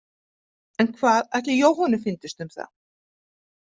En hvað ætli Jóhönnu fyndist um það?